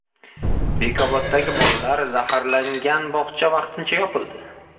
Bekoboddagi bolalar zaharlangan bog‘cha vaqtincha yopildi.